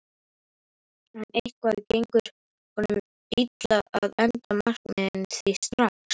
En eitthvað gengur honum illa að enda markmiðin því strax